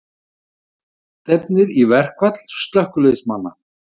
Allt stefnir í verkfall slökkviliðsmanna